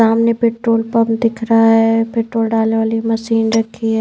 सामने petrol pump दिख रहा है पेट्रोल डालने वाली मशीन रखी है।